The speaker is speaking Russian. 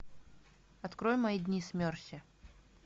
открой мои дни с мерси